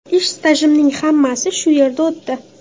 Ish stajimning hammasi shu yerda o‘tdi.